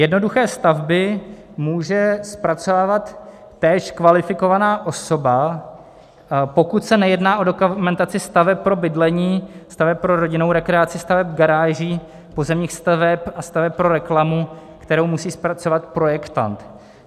Jednoduché stavby může zpracovávat též kvalifikovaná osoba, pokud se nejedná o dokumentaci staveb pro bydlení, staveb pro rodinnou rekreaci, staveb garáží, pozemních staveb a staveb pro reklamu, kterou musí zpracovat projektant.